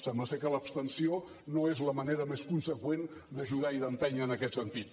sembla que l’abstenció no és la manera més conseqüent d’ajudar i d’empènyer en aquest sentit